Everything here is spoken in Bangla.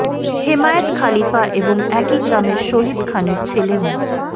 হেমায়েত খলিফা এবং একই গ্রামের শহিদ খানের ছেলে মো